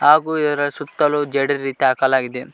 ಹಾಗೂ ಇದರ ಸುತ್ತಲೂ ಜೆಡಿ ರಿತ ಹಾಕಲಾಗಿದೆ.